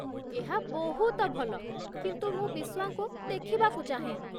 ଏହା ବହୁତ ଭଲ, କିନ୍ତୁ ମୁଁ ବିସ୍ୱାଙ୍କୁ ଦେଖିବାକୁ ଚାହେଁ